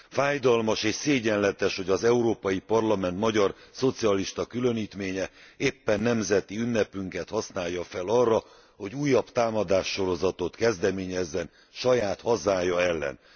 Fájdalmas és szégyenletes, hogy az Európai Parlament magyar szocialista különítménye éppen nemzeti ünnepünket használja fel arra, hogy újabb támadássorozatot kezdeményezzen saját hazája ellen.